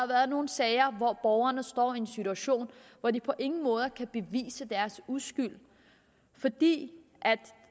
været nogle sager hvor borgerne står i en situation hvor de på ingen måder kan bevise deres uskyld fordi